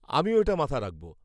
আমিও এটা মাথায় রাখব।